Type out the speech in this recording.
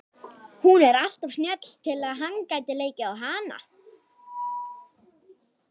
Hún er alltof snjöll til að hann geti leikið á hana.